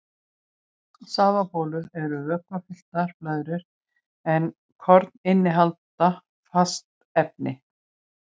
Safabólur eru vökvafylltar blöðrur en korn innihalda fast efni.